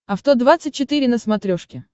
авто двадцать четыре на смотрешке